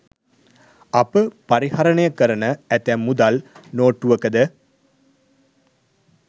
අප පරිහරණය කරන ඇතැම් මුදල් නෝට්ටුවකද